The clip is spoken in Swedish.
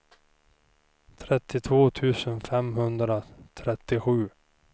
trettiotvå tusen femhundratrettiosju